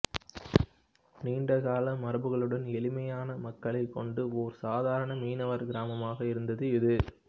நீண்டகால மரபுகளுடன் எளிமையான மக்களைக் கொண்ட ஒரு சாதாரண மீனவர் கிராமமாக இருந்தது இது